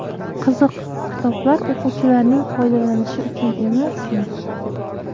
Qiziq, kitoblar o‘quvchilarning foydalanishi uchun emasmi?